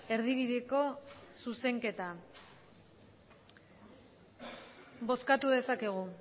erdibideko zuzenketa bozkatu dezakegu